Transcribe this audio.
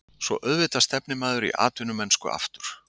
Svo auðvitað stefnir maður í atvinnumennsku aftur.